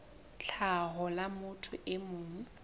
tlhaho la motho e mong